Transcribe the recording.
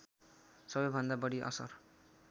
सबैभन्दा बढी असर